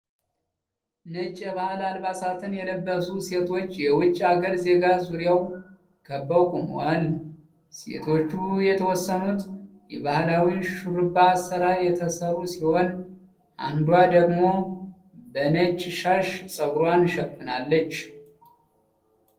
ነጫች የባህል አልባሳትን የለበሱ ሴቶች የዉጭ ሃገር ዜጋ ዙሪያ ከበው ቆመዋል። ሴቶቹ የተወሰኑት የባህላዊ ሹሩባ አሰራር የተሰሩ ሲሆን አንዷ ደግሞ በነጭ ሻሽ ጸጉሯን ሸፍናለች።